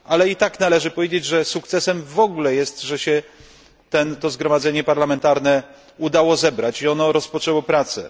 Ale i tak należy powiedzieć, że sukcesem w ogóle jest, że się to zgromadzenie parlamentarne udało zebrać i że rozpoczęło ono pracę.